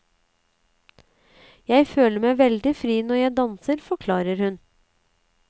Jeg føler meg veldig fri når jeg danser, forklarer hun.